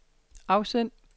afsend